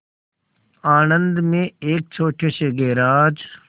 आणंद में एक छोटे से गैराज